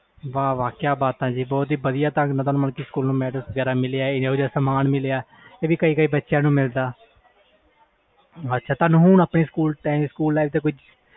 ਕਿਆ ਬਾਤਾਂ ਜੀ ਸਕੂਲ time ਤੁਹਾਨੁੰ ਇਹਨਾਂ ਸਨਮਾਨ ਮਿਲਿਆ ਇਹ ਵੀ ਕਿਸੇ ਕਿਸੇ ਨੂੰ ਮਿਲਦਾ ਆ